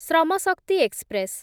ଶ୍ରମ ଶକ୍ତି ଏକ୍ସପ୍ରେସ୍